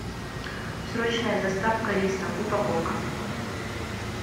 срочная доставка риса упаковка